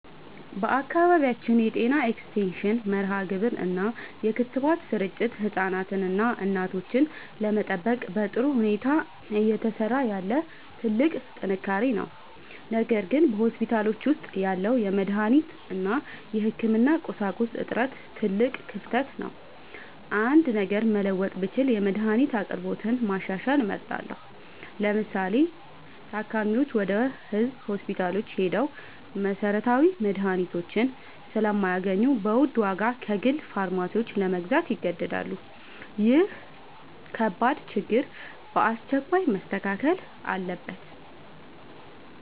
በአካባቢያችን የጤና ኤክስቴንሽን መርሃግብር እና የክትባት ስርጭት ህፃናትንና እናቶችን ለመጠበቅ በጥሩ ሁኔታ እየሰራ ያለ ትልቅ ጥንካሬ ነው። ነገር ግን በሆስፒታሎች ውስጥ ያለው የመድኃኒት እና የህክምና ቁሳቁስ እጥረት ትልቅ ክፍተት ነው። አንድ ነገር መለወጥ ብችል የመድኃኒት አቅርቦትን ማሻሻል እመርጣለሁ። ለምሳሌ፤ ታካሚዎች ወደ ህዝብ ሆስፒታሎች ሄደው መሰረታዊ መድኃኒቶችን ስለማያገኙ በውድ ዋጋ ከግል ፋርማሲዎች ለመግዛት ይገደዳሉ። ይህ ከባድ ችግር በአስቸኳይ መስተካከል አለበት።